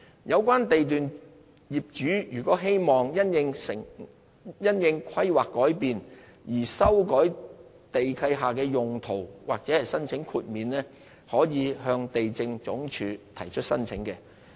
有關地段業主如希望因應規劃改變而修改地契下的土地用途或申請豁免，可以向地政總署提出申請。